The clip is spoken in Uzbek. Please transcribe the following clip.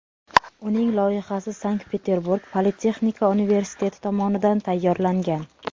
Uning loyihasi Sankt-Peterburg politexnika universiteti tomonidan tayyorlangan.